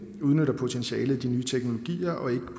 udnytter potentialet i de nye teknologier og ikke